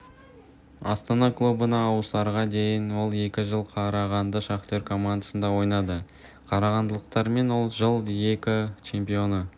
астана клубына ауысарға дейін ол екі жыл қарағандының шахтер командасында ойнады қарағандылықтармен ол жыл ел чемпионы